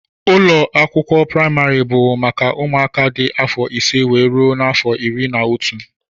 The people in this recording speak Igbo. Ụlọakwụkwọ primari bụ maka ụmụaka dị afọ ise wee rụọ n'afọ ịrị na ọtú.